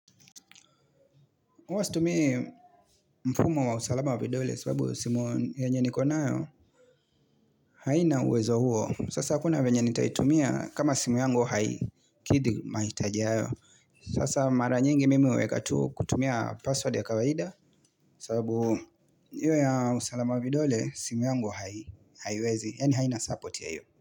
Uwastumie mfumo wa usalama wa vidole sababu simu yanye nikonayo haina uwezo huo. Sasa hakuna vyenye nitaitumia kama simu yangu haikidi mahitaji hayo. Sasa mara nyingi mimi uweka tu kutumia password ya kawaida sababu hiyo ya usalama wa vidole simu yangu haiwezi. Yani haina support ya hiyo.